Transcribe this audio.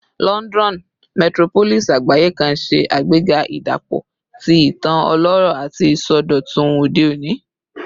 Lọndọnu, metropolis agbaye kan, ṣe agbega idapọ ti itan ọlọrọ ati isọdọtun ode oni